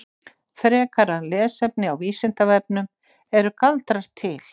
Frekara lesefni á Vísindavefnum: Eru galdrar til?